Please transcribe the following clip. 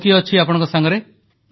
ଆଉ କିଏ ଅଛି ଆପଣଙ୍କ ସାଙ୍ଗରେ